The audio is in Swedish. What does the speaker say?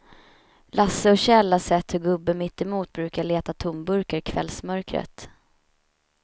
Lasse och Kjell har sett hur gubben mittemot brukar leta tomburkar i kvällsmörkret.